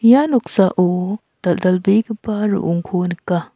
ia noksao dal·dalbegipa ro·ongko nika.